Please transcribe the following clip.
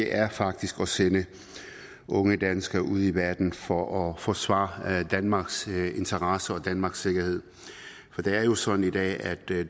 er faktisk at sende unge danskere ud i verden for at forsvare danmarks interesser og danmarks sikkerhed det er jo sådan i dag at